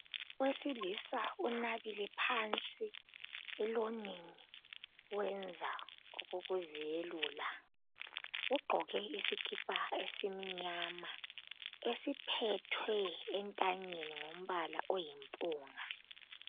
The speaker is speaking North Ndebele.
Owesilisa unabile phansi elonini wenza okokuzelula ugqoke isikipa esimnyama esiphethwe entanyeni ngombala oyimpunga.